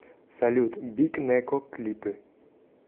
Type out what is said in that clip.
салют биг нэко клипы